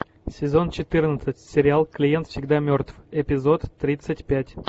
сезон четырнадцать сериал клиент всегда мертв эпизод тридцать пять